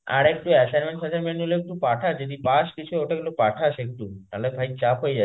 আর একটু assignment ফাস্সায়মেন্ট গুলো একটু পাঠাস যদি পাস কিছু সেগুলো পাঠাস একটু নাহলে ভাই চাপ হয়ে যাবে.